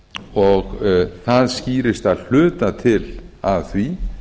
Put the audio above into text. og það skýrist að hluta til af því